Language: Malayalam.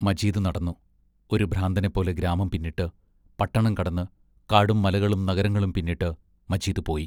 മജീദ് നടന്നു, ഒരു ഭ്രാന്തനെപ്പോലെ ഗ്രാമം പിന്നിട്ട്, പട്ടണം കടന്ന്; കാടും മലകളും നഗരങ്ങളും പിന്നിട്ട് മജീദ് പോയി.